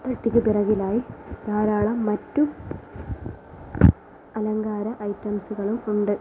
പെട്ടിക്ക് പിറകിലായി ധാരാളം മറ്റു അലങ്കാര ഐറ്റംസ്കളും ഉണ്ട്.